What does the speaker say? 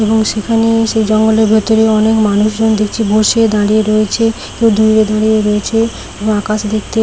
এবং সেখানে সে জঙ্গলের ভেতরে অনেক মানুষজন দেখছি বসে দাঁড়িয়ে রয়েছে কেউ দূরে দাঁড়িয়ে রয়েছে এবং আকাশ দেখতে--